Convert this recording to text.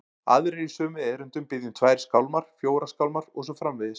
Aðrir í sömu erindum biðja um tvær skálmar, fjórar skálmar og svo framvegis.